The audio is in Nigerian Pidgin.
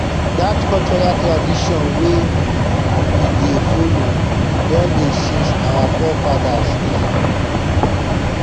dat cultural tradition wey we dey follow don dey since our forefathers time